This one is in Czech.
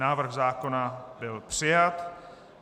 Návrh zákona byl přijat.